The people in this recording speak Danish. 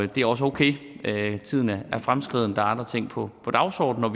det er også okay tiden er fremskreden der er andre ting på dagsordenen og